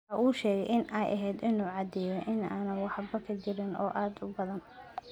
Waxa uu sheegay in ay ahayd in uu caddeeyo in aanay waxba ka jirin oo aad u badan.